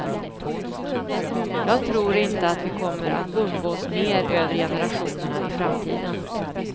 Jag tror inte att vi kommer att umgås mer över generationerna i framtiden.